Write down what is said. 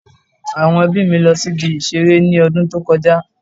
Àwọn ẹbí mi lọ sí ibi ìṣeré ní ọdún tó kọ já